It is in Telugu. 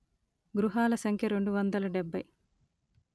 గృహాల సంఖ్య రెండు వందల డెబ్బై